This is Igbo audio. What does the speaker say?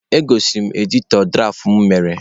Egosiri m editọ dụraf mụ mere.